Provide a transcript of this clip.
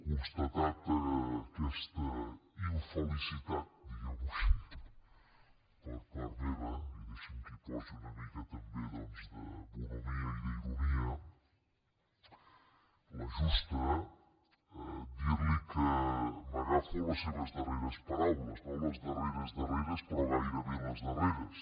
constatada aquesta infelicitat diguemho així per part meva i deixi’m que hi posi una mica també doncs de bonhomia i d’ironia la justa dirli que m’agafo a les seves darreres paraules no a les darreres darreres però gairebé les darreres